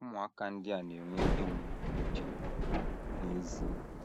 Ụmụaka ndị a na - enwe ihe mgbu nke uche n’ezie.